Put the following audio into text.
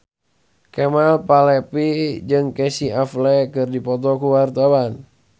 Kemal Palevi jeung Casey Affleck keur dipoto ku wartawan